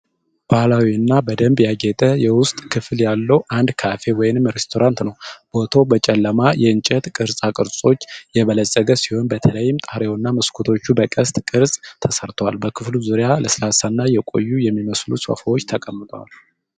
ባህላዊ እና በደንብ ያጌጠ የውስጥ ክፍል ያለው አንድ ካፌ ወይም ሬስቶራንት ነው። ቦታው በጨለማ የእንጨት ቅርጻ ቅርጾች የበለፀገ ሲሆን በተለይም ጣሪያውና መስኮቶቹ በቅስት ቅርፅ ተሰርተዋል። በክፍሉ ዙሪያ ለስላሳ እና የቆዩ የሚመስሉ ሶፋዎች ተቀምጠዋል።